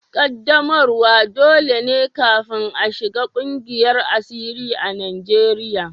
Ƙaddamarwa dole ne kafin a shiga ƙungiyar asiri a Najeriya